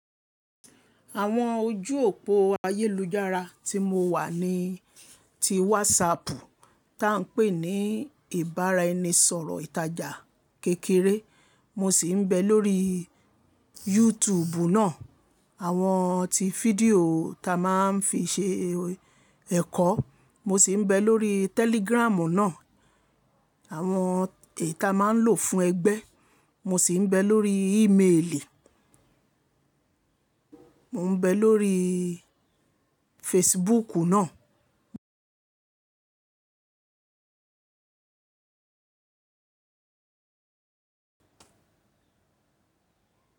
Àwọn ojú òpó ayélujára tí mo wà ni ti WhatsApp tí à ń pè ní ìbáraẹnisọ̀rọ̀ ìtajà kékeré. Mo sì ń bẹ lórí YouTube náà, àwọn ti fídíò ta máa ń fi ṣe ẹ̀kọ́. Mo sì ń bẹ lórí Telegram náà, àwọn è ta máa ń lò fún ẹgbẹ́. Mo sì ń bẹ lórí ìméèlì, mo ń bẹ lórí Facebook náà.